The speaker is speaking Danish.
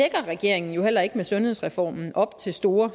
regeringen jo heller ikke med sundhedsreformen op til store